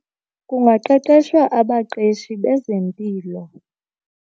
Kungaqeqeshwa abaqeshi bezempilo.